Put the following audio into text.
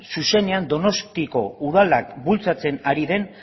zuzenean donostiako udalak bultzatzen ari den